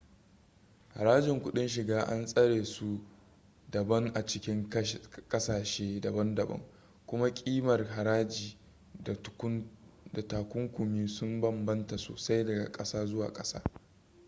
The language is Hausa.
harajin kuɗin shiga an tsara su daban a cikin ƙasashe daban-daban kuma ƙimar haraji da takunkumi sun bambanta sosai daga ƙasa zuwa ƙasa